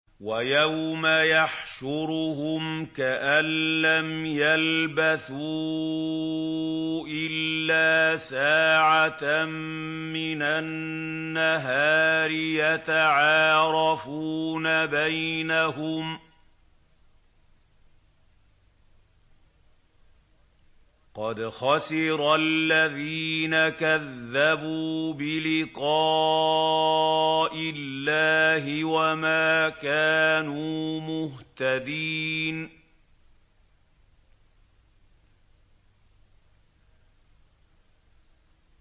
وَيَوْمَ يَحْشُرُهُمْ كَأَن لَّمْ يَلْبَثُوا إِلَّا سَاعَةً مِّنَ النَّهَارِ يَتَعَارَفُونَ بَيْنَهُمْ ۚ قَدْ خَسِرَ الَّذِينَ كَذَّبُوا بِلِقَاءِ اللَّهِ وَمَا كَانُوا مُهْتَدِينَ